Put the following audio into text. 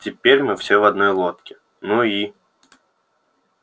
теперь мы все в одной лодке ну и